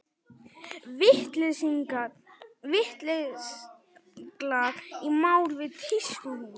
Vítisenglar í mál við tískuhús